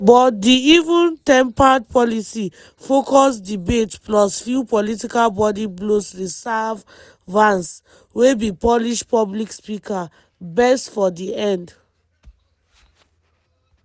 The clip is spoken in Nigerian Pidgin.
but di even-tempered policy-focused debate plus few political body blows serve vance – wey be polished public speaker - best for di end.